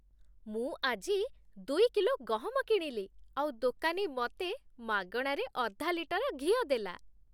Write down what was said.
ମୁଁ ଆଜି ଦୁଇ କିଲୋ ଗହମ କିଣିଲି ଆଉ ଦୋକାନୀ ମତେ ମାଗଣାରେ ଅଧା ଲିଟର ଘିଅ ଦେଲା ।